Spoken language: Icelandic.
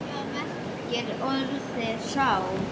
Hvað merkir orðið sál?